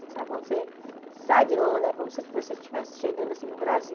Sabe quando você sai de Londres, é como se você estivesse chegando assim no Brasil.